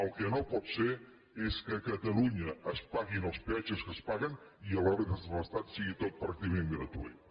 el que no pot ser és que a catalunya es paguin els peatges que es paguen i a la resta de l’estat sigui tot pràcticament gratuït